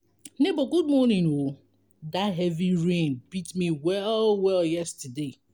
nebor good morning o dat heavy rain beat me well-well yesterday.